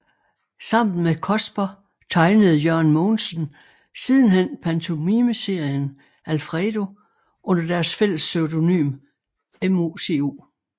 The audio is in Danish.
Sammen med Cosper tegnede Jørgen Mogensen sidenhen pantomimeserien Alfredo under deres fælles pseudonym MOCO